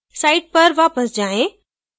site पर वापस जाएँ